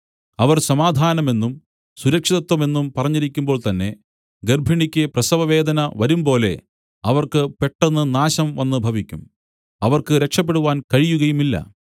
അവർ സമാധാനമെന്നും സുരക്ഷിതത്വമെന്നും പറഞ്ഞിരിക്കുമ്പോൾതന്നെ ഗർഭിണിക്ക് പ്രസവവേദന വരുമ്പോലെ അവർക്ക് പെട്ടെന്ന് നാശം വന്നുഭവിക്കും അവർക്ക് രക്ഷപെടുവാൻ കഴിയുകയുമില്ല